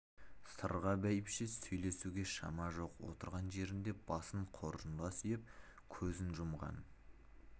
сырға бәйбіше сөйлесуге шама жоқ отырған жерінде басын қоржынға сүйеп көзін жұмған